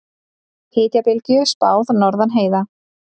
Hitabylgju spáð norðan heiða